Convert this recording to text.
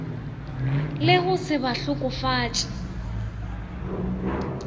le go se ba hlokofatše